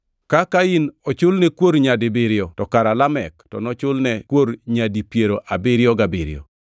Ka Kain ochulne kuor nyadibiriyo to kara Lamek to nochul ne kuor nyadi piero abiriyo gabiriyo.”